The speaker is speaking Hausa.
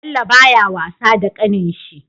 Bello baya wasa da ƙanin shi